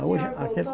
O senhor voltou